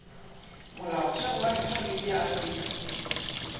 molaotheo wa rephaboliki ya afrika